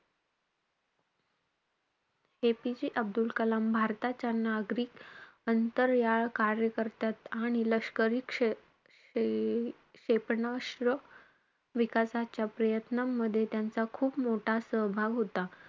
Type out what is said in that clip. APJ Abdul Kalam भारताच्या नागरिक अंतरयाळ कार्यकरत्यात आणि लष्करी क्ष~ क्षे~ क्षेपणास्त्र विकासाच्या प्रयत्नामध्ये, त्यांचा खूप मोठा सहभाग होता.